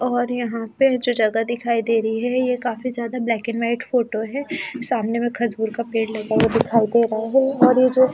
और यहां पे जो जगह दिखाई दे रही है ये काफी ज्यादा ब्लैक एंड वाइट फोटो है सामने में खजूर का पेड़ और ये जो --